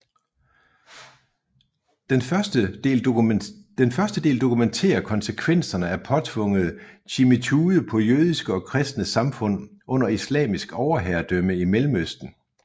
Den første del dokumenterer konsekvenserne af påtvunget dhimmitude på jødiske og kristne samfund under islamisk overherredømme i Mellemøsten